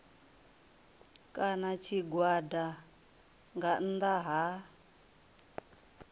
kana tshigwada nga nnḓa ha